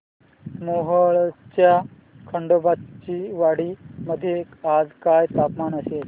मोहोळच्या खंडोबाची वाडी मध्ये आज काय तापमान असेल